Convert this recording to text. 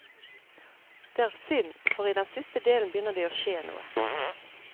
Det er synd, for i den siste delen begynner det å skje noe.